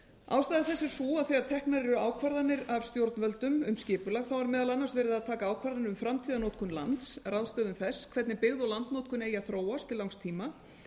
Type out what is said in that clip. ástæða þess er sú að þegar teknar eru ákvarðanir af stjórnvöldum um skipulag er meðal annars verið að taka ákvarðanir um framtíðarnotkun lands ráðstöfun þess hvernig byggð og landnotkun eigi að þróast til langs tíma